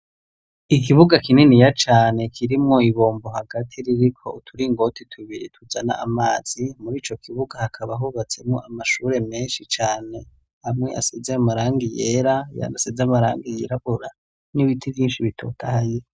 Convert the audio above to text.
Ikibuga kinini ya cane kirimwo ibombo hagati ririko uturingote tubiri tuzana amazi muri co kibuga hakaba hubatsemwo amashure menshi cane amwe asize amaranga yera yandase z'amaranga yirabura n'ibiti rinshi bitotaye.